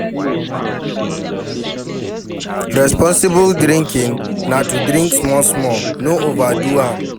Responsible drinking na to drink small small, no overdo am